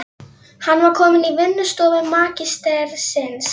Hann var kominn í vinnustofu magistersins.